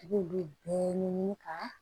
I b'olu bɛɛ ɲɛɲini ka